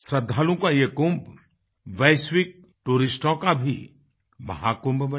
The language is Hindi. श्रद्धालुओं का ये कुंभ वैश्विक टूरिस्टों का भी महाकुंभ बने